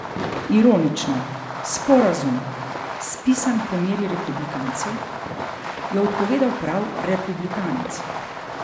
Ironično, sporazum, spisan po meri republikancev, je odpovedal prav republikanec.